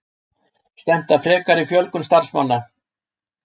Stefnt að frekari fjölgun starfsmanna